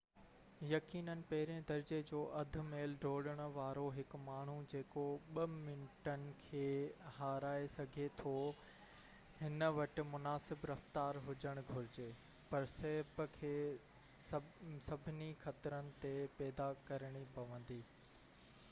يقيناً پهرين درجي جو اڌ ميل ڊوڙڻ وارو هڪ ماڻهو جيڪو ٻہ منٽن کي هارائي سگهي ٿو هن وٽ مناسب رفتار هجڻ گهرجي پر سهپ کي سڀني خطرن تي پيدا ڪرڻي پوندي